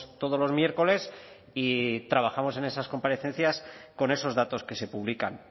todos los miércoles y trabajamos en esas comparecencias con esos datos que se publican